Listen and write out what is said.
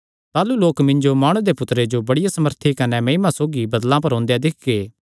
ताह़लू लोक मिन्जो माणु दे पुत्तरे जो बड़िया सामर्था कने महिमा सौगी बदल़ां पर ओंदेया दिक्खगे